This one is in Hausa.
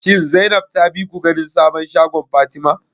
Shin Zainab ta bi ku ganin sabon shagon Fatima?